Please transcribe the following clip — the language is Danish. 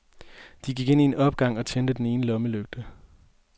De gik ind i opgangen og tændte den ene lommelygte.